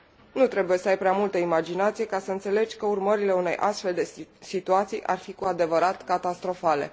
Nu trebuie să ai prea multă imaginație ca să înțelegi că urmările unei astfel de situații ar fi cu adevărat catastrofale.